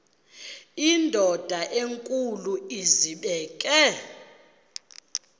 indod enkulu izibeke